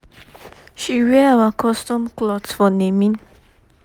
she wear our custom cloth for naming